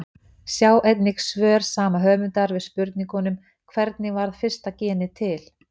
Sjá einnig svör sama höfundar við spurningunum Hvernig varð fyrsta genið til?